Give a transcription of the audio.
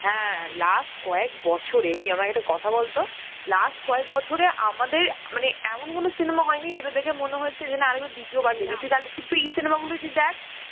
last কয়েক বছরে তুই আমাকে একটা কথা বলতো last কয়েক বছর এ আমাদের মানে এমন কোনো cinema হয়েনি যেটা দেখে মনে হয়েছে যে না দিতীয় বার দেখি তুই তাহলে কিন্তু এই cinema গুলই দেখ